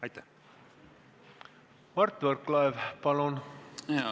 Mart Võrklaev, palun!